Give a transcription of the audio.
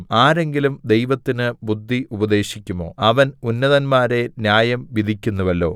ആരെങ്കിലും ദൈവത്തിന് ബുദ്ധി ഉപദേശിക്കുമോ അവൻ ഉന്നതന്മാരെ ന്യായം വിധിക്കുന്നുവല്ലോ